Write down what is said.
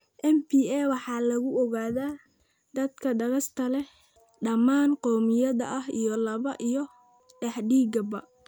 MPA waxaa lagu ogaadaa dadka da' kasta leh, dhamaan qowmiyadaha, iyo lab iyo dheddigba.